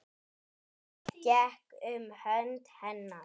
Ég tek um hönd hennar.